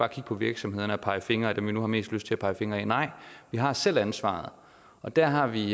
kigge på virksomhederne og pege fingre ad dem vi nu har mest lyst til at pege fingre af nej vi har selv ansvaret og der har vi